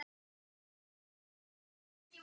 Nefndi ég þá stað.